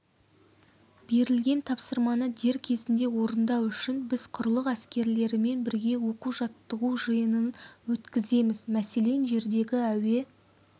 берілген тапсырманы дер кезінде орындау үшін біз құрлық әскерлерімен бірге оқу-жаттығу жиынын өткіземіз мәселен жердегі әуе